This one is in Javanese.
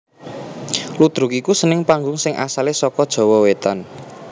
Ludruk iku seni panggung sing asalé saka Jawa Wétan